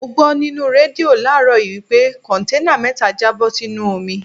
Mo gbó nínú rédíò láàrọ́ yìí wí pé Kọ̀ǹténà mẹ́ta já bó sínú omi.